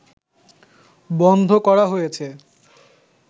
বন্ধ করা হয়েছে